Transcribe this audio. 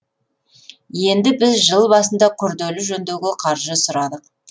енді біз жыл басында күрделі жөндеуге қаржы сұрадық